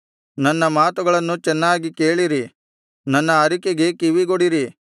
ನನ್ನ ಮಾತುಗಳನ್ನು ಚೆನ್ನಾಗಿ ಕೇಳಿರಿ ನನ್ನ ಅರಿಕೆಗೆ ಕಿವಿಗೊಡಿರಿ